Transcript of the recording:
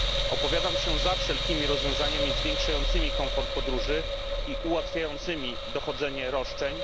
Opowiadam się za wszelkimi rozwiązaniami zwiększającymi komfort podróży i ułatwiającymi dochodzenie roszczeń.